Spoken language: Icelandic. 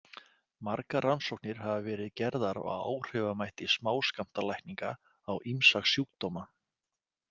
Margar rannsóknir hafa verið gerðar á áhrifamætti smáskammtalækninga á ýmsa sjúkdóma.